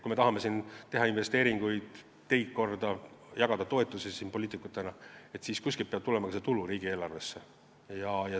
Kui me tahame teha investeeringuid, tahame teha teid korda ja jagada siin poliitikutena toetusi, siis on selge, et kuskilt peab tulema ka tulu riigieelarvesse.